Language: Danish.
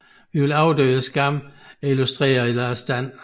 Vi vil overdøve skammen er illustreret af Lars Dan